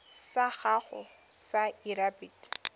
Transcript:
sa gago sa irp it